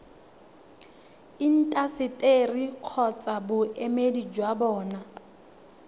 intaseteri kgotsa boemedi jwa bona